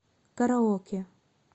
караоке